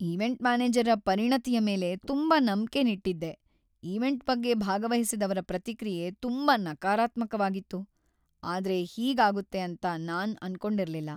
Event ಮ್ಯಾನೇಜರ್ರ ಪರಿಣತಿಯ ಮೇಲೆ ತುಂಬಾ ನಂಬಿಕೆನ್ ಇಟ್ಟಿದ್ದೆ ಈವೆಂಟ್ ಬಗ್ಗೆ ಭಾಗವಹಿಸಿದವ್ರ ಪ್ರತಿಕ್ರಿಯೆ ತುಂಬಾ ನಕಾರಾತ್ಮಕವಾಗಿತ್ತು, ಆದ್ರೆ ಹೀಗ್ ಆಗುತ್ತೆ ಅಂತ ನಾನ್ ಅನ್ಕೊಂಡಿರ್ಲಿಲ್ಲ.